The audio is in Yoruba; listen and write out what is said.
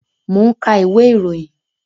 Mo n ka ìwé ìròyìn